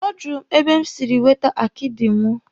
Ọ jụrụ mụ ebe m siri wete akidi mụ.